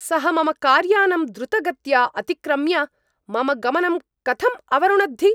सः मम कार्यानम् द्रुतगत्या अतिक्रम्य मम गमनं कथम् अवरुणद्धि?